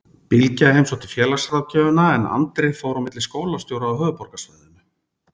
Bylgja heimsótti félagsráðgjöfina en Andri fór á milli skólastjóra á höfuðborgarsvæðinu.